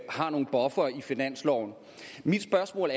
har nogle buffere i finansloven mit spørgsmål